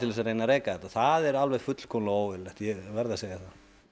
þess að reka þetta það er alveg fullkomlega óeðlilegt ég verð að segja það